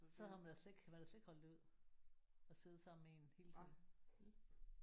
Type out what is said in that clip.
Så har man da slet ikke kan man da slet ikke holde det ud at sidde sammen med en hele tiden vel